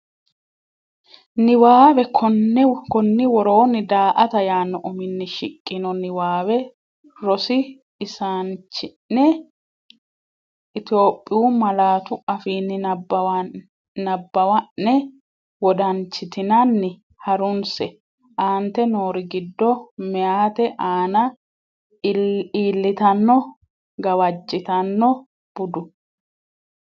Niwaawe Konni woroonni “daa”ata” yaanno uminni shiqqino niwaawe rosi isaanchi’ne Itophiyu malaatu afiinni nabbawanna’ne wodanchitinanni ha’runse, Aante noori giddo meyaate aana iillitanno gawajjitanno budu?